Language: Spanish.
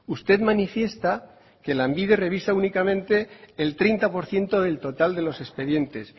usted manifiesta que lanbide revisa únicamente el treinta por ciento del total de los expedientes